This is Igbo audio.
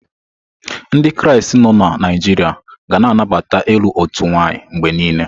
Ndị Kraịst nọ na Naijiria ga na anabata ilu otu nwanyị mgbe niile.